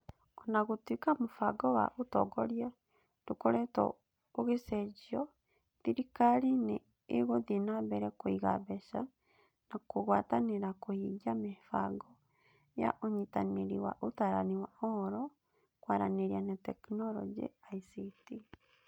O na gũtuĩka mũbango wa ũtongoria ndũkoretwo ũgĩcenjio, thirikari nĩ ĩgũthiĩ na mbere kũiga mbeca na kũgwatanĩra kũhingia mĩbango ya ũnyitanĩri wa Ũtaarani wa Ũhoro, Kwaranĩria na Teknoroji (ICT).